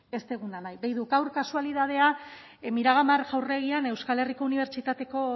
ez duguna nahi gaur kasualitatea miramar jauregian euskal herriko unibertsitateko